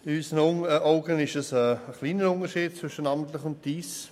Aus unserer Sicht besteht ein geringer Unterschied zwischen «namentlich» und «dies».